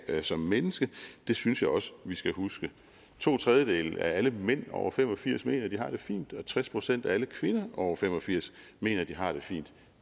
som menneske det synes jeg også vi skal huske to tredjedele af alle mænd over fem og firs år mener at de har det fint og tres procent af alle kvinder over fem og firs år mener at de har det fint